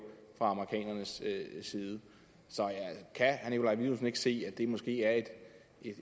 fra amerikanernes side så kan herre nikolaj villumsen ikke se at det måske er et